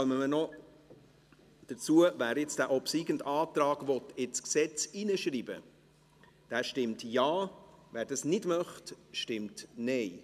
Wer jetzt diesen obsiegenden Antrag in das Gesetz schreiben will, stimmt Ja, wer das nicht möchte, stimmt Nein.